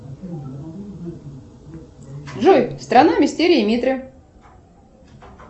джой страна мистерии митры